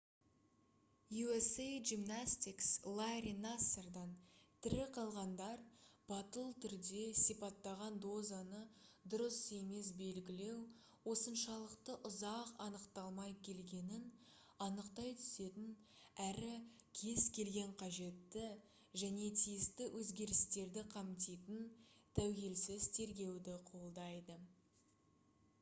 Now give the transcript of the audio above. usa gymnastics ларри нассардан тірі қалғандар батыл түрде сипаттаған дозаны дұрыс емес белгілеу осыншалықты ұзақ анықталмай келгенін анықтай түсетін әрі кез келген қажетті және тиісті өзгерістерді қамтитын тәуелсіз тергеуді қолдайды